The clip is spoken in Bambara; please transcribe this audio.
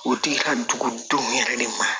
O tigi ka dugudenw yɛrɛ de ma